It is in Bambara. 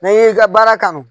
Na ye i ka baara kanu